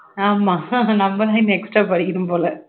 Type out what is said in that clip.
ஆமாம் நம்மதான் extra ஆ படிக்கணும் போல